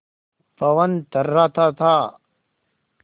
पवन थर्राता था